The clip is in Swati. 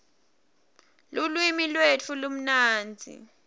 lulwimi lwetfu lumnandzi